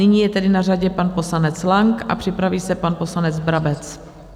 Nyní je tedy na řadě pan poslanec Lang a připraví se pan poslanec Brabec.